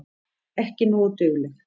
Ekki nógu dugleg.